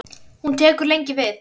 Hún tekur lengi við.